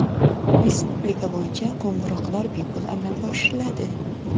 Respublika bo‘yicha qo‘ng‘iroqlar bepul amalga oshiriladi.